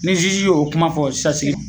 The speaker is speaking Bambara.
Ni y'o kuma fɔ sisan sigi